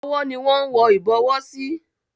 Ọwọ́ ni wón ń wọ Ìbọwọ́ sí.